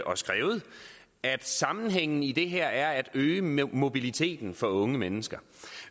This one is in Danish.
og skrevet at sammenhængen i det her er at øge mobiliteten for unge mennesker